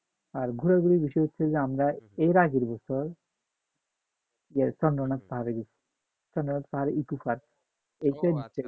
আর ঘোরাঘুরি বেশি হচ্ছে আমরা এর আগের বছর আহ চন্দ্রনাথ পাহাড়ে গেছি, চন্দ্রনাথ পাহারে echo park